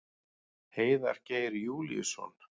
Heiðar Geir Júlíusson.